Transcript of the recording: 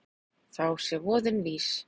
Þá sé voðinn vís.